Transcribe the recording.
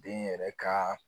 Den yɛrɛ ka